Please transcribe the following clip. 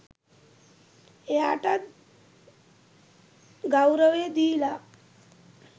එයාටත් ගෞරවය දීලා